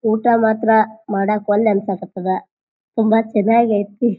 ಊಟ ಮಾತ್ರ ಮಾಡಾಕ್ ವಲ್ಲೆ ಅನ್ಸಾಕತದ. ತುಂಬಾ ಚೆನ್ನಾಗ್ ಐತಿ.